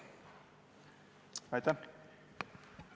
Aitäh!